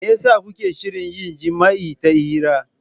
Me yasa kuke shirin yin jima'i ta hira?